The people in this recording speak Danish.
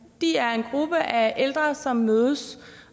er en gruppe af ældre som mødes